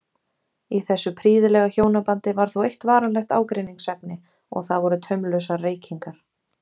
Í þessu prýðilega hjónabandi var þó eitt varanlegt ágreiningsefni og það voru taumlausar reykingar